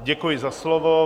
Děkuji za slovo.